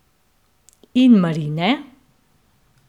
In marine?